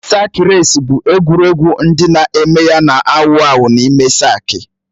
Sak reci bụ egwuregwu ndị na-eme ya na-awụ awụ n'ime saki